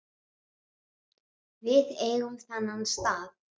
Við eigum þennan stað